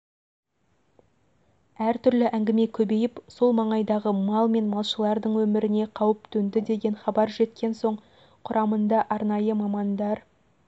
әртүрлі әңгіме көбейіп сол маңайдағы мал мен малшылардың өміріне қауіп төнді деген хабар жеткен соң құрамында арнайы мамандар